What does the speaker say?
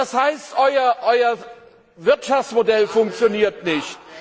Das heißt, euer Wirtschaftsmodell funktioniert nicht.